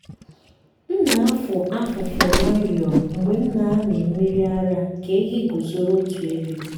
m na-afụ afụfụ nwayọọ mgbe m na-amị mmiri ara ka ehi guzoro otu ebe.